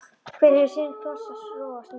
Hver hefur sinn kross að rogast með.